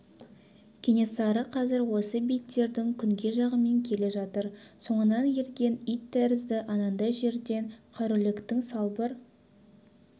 кенесары қазір осы бейіттердің күнгей жағымен келе жатыр соңынан ерген ит тәрізді анандай жерден қараүлектің салбыр